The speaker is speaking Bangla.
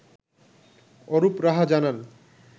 অরুপ রাহা জানান